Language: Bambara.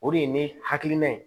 O de ye ne hakilina ye